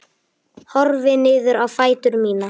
Horfi niður á fætur mína.